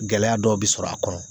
Gɛlɛya dɔw bɛ sɔrɔ a kɔnɔ